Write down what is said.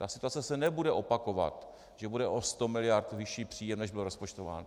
Ta situace se nebude opakovat, že bude o 100 miliard vyšší příjem, než bylo rozpočtováno.